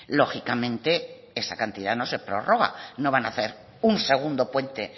lógicamente esa cantidad no se prorroga no van a hacer un segundo puente